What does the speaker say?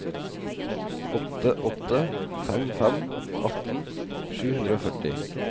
åtte åtte fem fem atten sju hundre og førti